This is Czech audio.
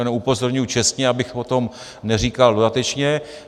Jen upozorňuji čestně, abych o tom neříkal dodatečně.